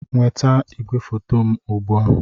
Nweta igwefoto m ugbu a!